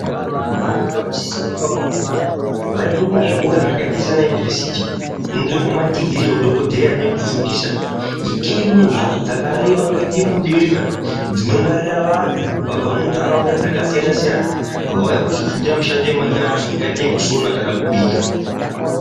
Vantu vanosisa kuti vakawanda mare vaende kuzvikora zvakaita Sana univhesiti kunotorwa madhigiri nemadhokodheya nekufundisa itei kune mbatso dzakareba kuenda mudenga dzinongwarirwa vantu vabva mundaraunda dzakasiyana siyana vauya kuzofundira mishando yemanyara yakaita yekusona kana kubika.